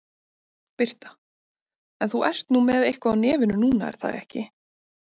Birta: En þú ert nú með eitthvað á nefinu núna er það ekki?